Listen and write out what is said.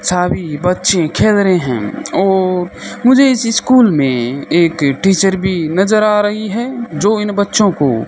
साभी बच्चे खेल रहे हैं और मुझे इसी स्कुल में एक टीचर भी नजर आ रही हैं जो इन बच्चों को--